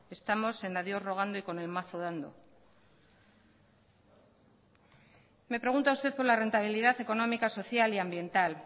estamos en a dios rogando y con el mazo dando me pregunta usted por la rentabilidad económica social y ambiental